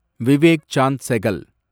Vivek Chand Sehgal